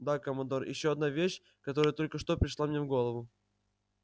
да командор ещё одна вещь которая только что пришла мне в голову